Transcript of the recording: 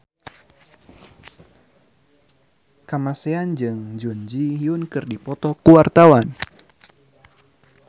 Kamasean jeung Jun Ji Hyun keur dipoto ku wartawan